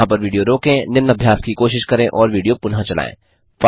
यहाँ पर विडियो रोकें निम्न अभ्यास की कोशिश करें और विडियो पुनः चलायें